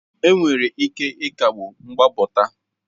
Enwere ike ịkagbu mgbapụta